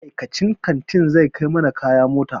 Ma'aikacin kantin zai kai mana kaya mota.